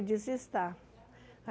Disse, está.